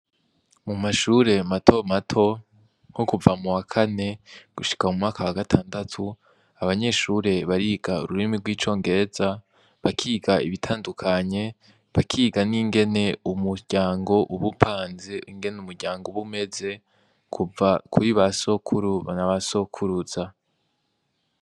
Mu mashure mato mato nko kuva muwakane gushika mumwaka wa gatandatu abanyeshure bariga ururimi rwicongereza bakiga ibitandukanye bakiga ningene umuryango uba upanze ingene umuryango uba umeze kuva kuri ba sokuru nabasokuruza.